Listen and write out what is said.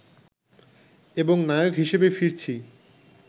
এবং নায়ক হিসেবে ফিরছি